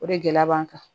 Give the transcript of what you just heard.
O de gɛlɛya b'an kan